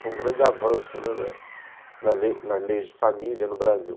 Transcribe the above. Foi um grande avanço nas leis de família no Brasil.